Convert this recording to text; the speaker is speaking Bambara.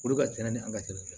Olu ka ca ni an ka ye